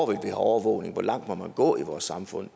vil have overvågning og hvor langt man må gå i vores samfund